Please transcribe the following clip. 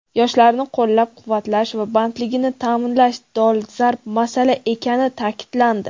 yoshlarni qo‘llab-quvvatlash va bandligini ta’minlash dolzarb masala ekani ta’kidlandi.